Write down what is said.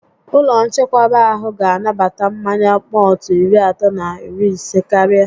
Ụlọ nchekwaba ahụ ga anabata mmanya mọltụ iri atọ na iri isé karịa